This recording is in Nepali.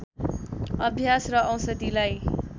अभ्यास र औषधिलाई